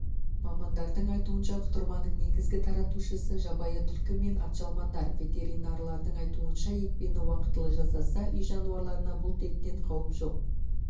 мамандардың айтуынша құтырманың негізгі таратушысы жабайы түлкі мен атжалмандар ветеринарлардың айтуынша екпені уақылы жасаса үй жануарларына бұл дерттен қауіп жоқ